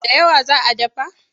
Da yawa za a dafa?